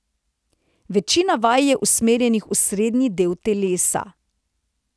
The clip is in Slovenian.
Večina vaj je usmerjenih v srednji del telesa ...